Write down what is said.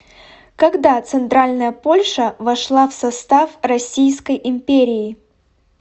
когда центральная польша вошла в состав российской империи